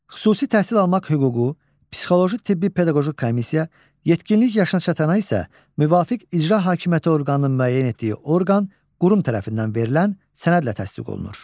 Xüsusi təhsil almaq hüququ psixoloji-tibbi-pedaqoji komissiya yetkinlik yaşına çatana isə müvafiq icra hakimiyyəti orqanının müəyyən etdiyi orqan, qurum tərəfindən verilən sənədlə təsdiq olunur.